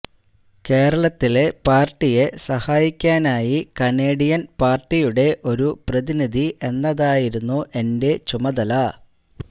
കേരളത്തിലെ പാര്ട്ടിയെ സഹായിക്കാനായി കനേഡിയന് പാര്ട്ടിയുടെ ഒരു പ്രതിനിധി എന്നതായിരുന്നു എന്റെ ചുമതല